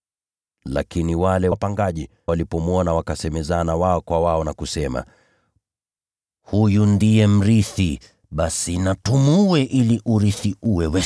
“Lakini wale wapangaji walipomwona, wakasemezana wao kwa wao. Wakasema, ‘Huyu ndiye mrithi. Basi na tumuue ili urithi uwe wetu.’